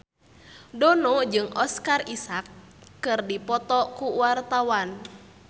Dono jeung Oscar Isaac keur dipoto ku wartawan